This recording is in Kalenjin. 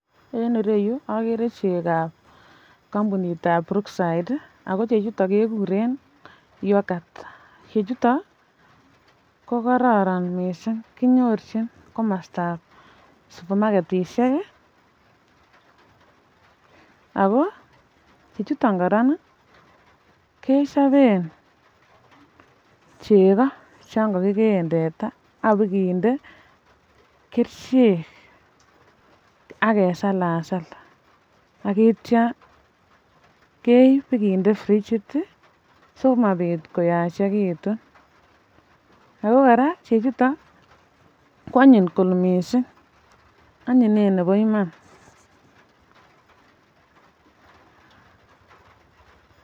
En irou agere rumit ne kakinde kunuok ago akipaken tuguk en kunuok choton ago kunuok chuton koraa agere kakichoran arekab ngokenik en kunuok chuton amakuu ale um ko amitwogikab arekab ngokenik che imuche kotoret ngokenik koechegitun ago koraa tuguk chuton um chengeng chuton ko kibutyin ngokenik sikobit koechegitun en chokchinet ago toreti icheket kokimekitun koraa ago yekariibchi ngokenik chengeng komoche kibochii beek si mololyo en chengeng chuton koraa agere koraa en taban yu miten chekakitelesi ago kakisir kele fugo.